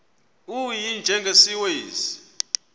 u y njengesiwezi